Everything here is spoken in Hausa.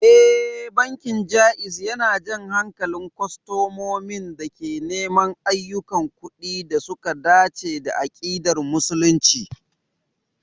Ee, bankin Jaiz yana jan hankalin kwastomomin da ke neman ayyukan kuɗi da suka dace da ƙa'idar Musulunci.